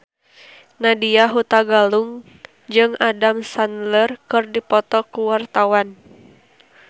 Nadya Hutagalung jeung Adam Sandler keur dipoto ku wartawan